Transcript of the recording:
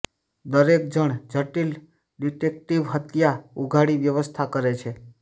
દરેક જણ જટિલ ડિટેક્ટીવ હત્યા ઉઘાડી વ્યવસ્થા કરે છે